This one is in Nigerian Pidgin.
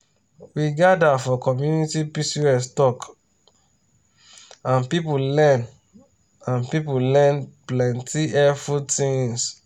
we gather for community pcos talk and people learn and people learn plenty helpful things.